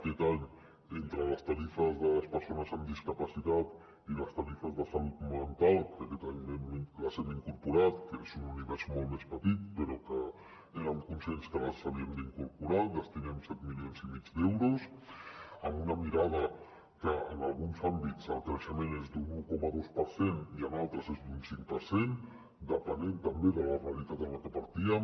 aquest any entre les tarifes de les persones amb discapacitat i les tarifes de salut mental que aquest any les hem incorporat que és un univers molt més petit però que érem conscients que les havíem d’incorporar hi destinem set milions i mig d’euros amb una mirada que en alguns àmbits el creixement és d’un un coma dos per cent i en altres és d’un cinc per cent depenent també de la realitat de la que partíem